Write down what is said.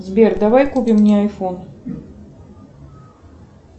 сбер давай купим мне айфон